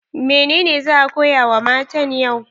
Menene za a koya wa matan yau?